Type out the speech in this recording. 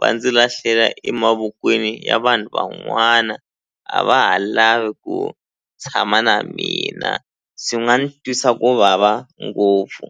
va ndzi lahlela emavokweni ya vanhu van'wana a va ha lavi ku tshama na mina swi nga ni twisa ku vava ngopfu.